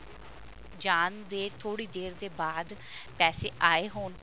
ਜਾਣ ਦੇ ਥੋੜੀ ਦੇਰ ਦੇ ਬਾਅਦ ਪੈਸੇ ਆਏ ਹੋਣ